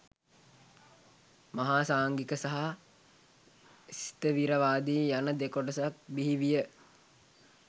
මහා සාංඝික සහ ස්ථවිරවාදී යන දෙකොටසක් බිහි විය